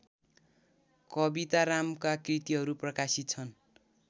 कवितारामका कृतिहरू प्रकाशित छन्